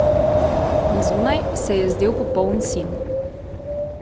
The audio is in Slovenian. Na zunaj se je zdel popoln sin.